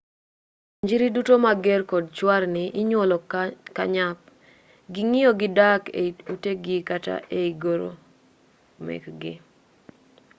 onjiri duto mager kod chwarni inyuolo ka nyap ging'iyo gi dak ei utegi kata ei goro mekgi